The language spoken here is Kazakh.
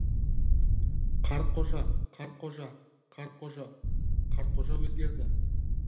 қартқожа қартқожа қартқожа қартқожа өзгерді